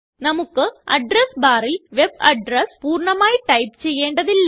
നമുക്ക് അഡ്രസ് barല് web address പൂർണ്ണമായി ടൈപ്പ് ചെയ്യേണ്ടതില്ല